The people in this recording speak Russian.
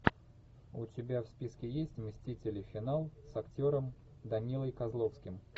у тебя в списке есть мстители финал с актером данилой козловским